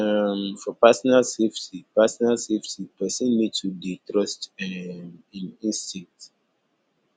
um for personal safety personal safety person need to dey trust um im instinct